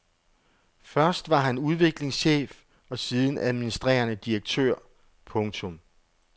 Først var han udviklingschef og siden administrerende direktør. punktum